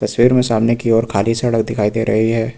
तस्वीर में सामने की ओर खाली सड़क दिखाई दे रही है।